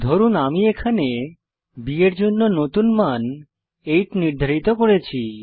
ধরুন আমি এখানে বি এর জন্য নতুন মান 8 নির্ধারিত করব